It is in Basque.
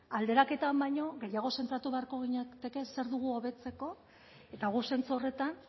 alderaketan baino gehiago zentratu beharko ginateke zer dugu hobetzeko eta guk zentzu horretan